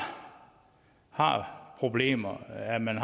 har problemer med at man